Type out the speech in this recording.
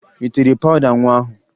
Ị tere pawụda nwa ahụ?